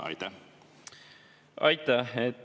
Aitäh!